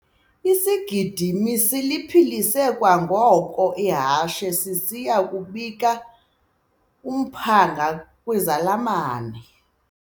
Isigidimi siliphalise kangangoko ihashe sisiya kubika umphanga kwizalamane.